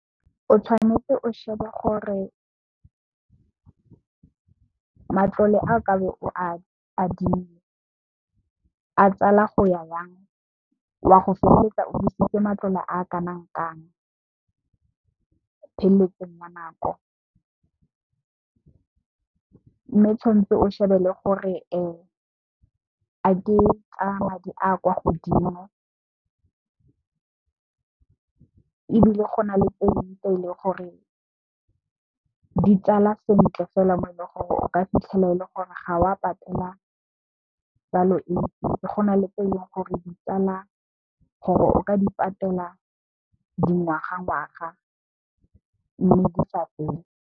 O tshwanetse o shebe gore matlole a ka be o a adimile a tsala go ya yang, wa go feleletsa o busitse matlole a kanang kang pheletsong ya nako. Mme, tshwanetse o shebe le gore a ke a madi a kwa godimo ebile, go na le tse ding tse eleng gore ditsala sentle fela mo e leng gore o ka fitlhela e le gore ga wa patela tsalo e ntsi, go na le tse leng gore di tsala gore o ka di patela dingwaga, ngwaga mme, di sa fele.